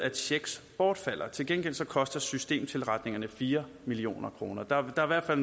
af checks bortfalder til gengæld koster systemtilretningerne fire million kroner der der